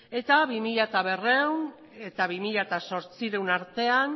eta bi mila berrehun eta bi mila zortziehun artean